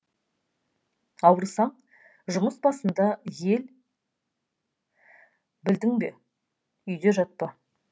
ауырсаң жұмыс басында ел білдің бе үйде жатпа